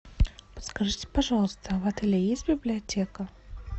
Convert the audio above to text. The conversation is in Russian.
подскажите пожалуйста в отеле есть библиотека